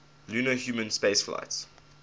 lunar human spaceflights